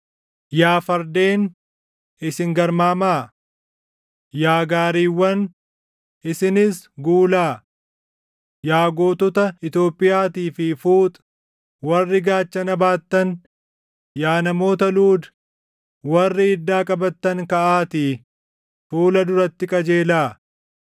Yaa fardeen, isin garmaamaa! Yaa gaariiwwan, isinis guulaa! Yaa gootota Itoophiyaatii fi Fuuxi warri gaachana baattan, yaa namoota Luudi warri iddaa qabattan kaʼaatii // fuula duratti qajeelaa.